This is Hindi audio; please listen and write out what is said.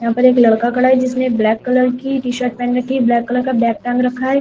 यहां पर एक लड़का खड़ा है जिसने ब्लैक कलर की टी_शर्ट पहेन रखी ब्लैक कलर का बैग टांग रखा है।